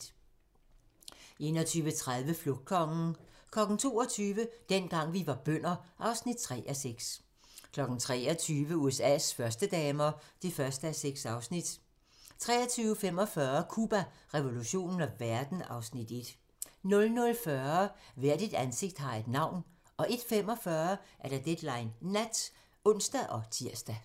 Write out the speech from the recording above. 21:30: Flugtkongen 22:00: Dengang vi var bønder (3:6) 23:00: USA's førstedamer (1:6) 23:45: Cuba, revolutionen og verden (Afs. 1) 00:40: Hvert et ansigt har et navn 01:45: Deadline Nat (ons og tir)